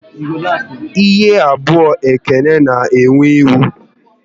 Ihu abụọ Ekene na ewe iwe